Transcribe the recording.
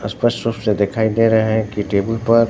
और स्पष्ट रूप से दिखाई दे रहे हैं की टेबुल पर--